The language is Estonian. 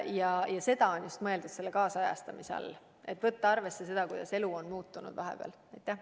Seda just ongi mõeldud kaasajastamise all, et tuleb võtta arvesse seda, kuidas elu on vahepeal muutunud.